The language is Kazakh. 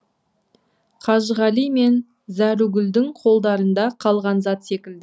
қажығали мен зәругүлдің қолдарында қалған зат секілді